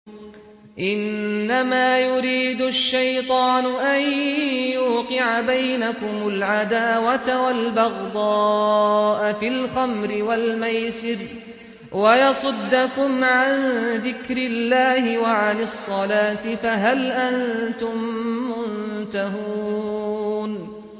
إِنَّمَا يُرِيدُ الشَّيْطَانُ أَن يُوقِعَ بَيْنَكُمُ الْعَدَاوَةَ وَالْبَغْضَاءَ فِي الْخَمْرِ وَالْمَيْسِرِ وَيَصُدَّكُمْ عَن ذِكْرِ اللَّهِ وَعَنِ الصَّلَاةِ ۖ فَهَلْ أَنتُم مُّنتَهُونَ